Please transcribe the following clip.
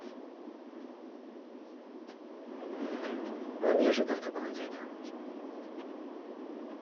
он не ожидал такого ответа